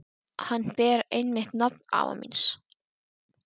Hann ber einmitt nafn afa míns.